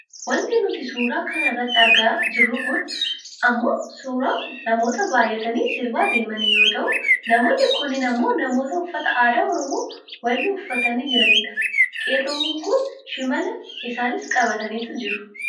Wanti nuti suuraa kana irratti argaa jirru kun ammoo suuraa namoota baayyatanii sirbaa deemanii yoo ta'u namoonni kunneen ammoo namoota uffata aadaa Oromoo walloo uffatanii jiraniidha. Qeerroowwan kun shimala isaaniis qabataniit jiru.